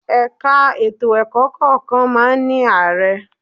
Ẹ̀ka ètò ẹ̀kọ́ kọ̀ọ̀kan máa ń ní Ààrẹ